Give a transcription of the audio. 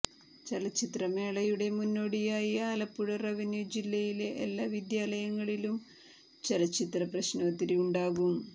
ചലച്ചിത്ര മേളയുടെ മുന്നോടിയായി ആലപ്പുഴ റവന്യു ജില്ലയിലെ എല്ലാ വിദ്യാലയങ്ങളിലും ചലച്ചിത്ര പ്രശ്നോത്തരി ഉണ്ടാകും